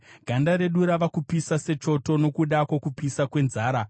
Ganda redu rava kupisa sechoto, nokuda kwokupisa kwenzara.